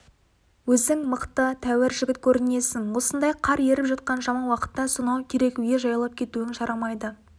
өзің мықты тәуір жігіт көрінесің осындай қар еріп жатқан жаман уақытта сонау керекуге жаяулап кетуің жарамайды